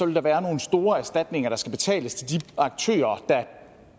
der være nogle store erstatninger der skal betales til de aktører der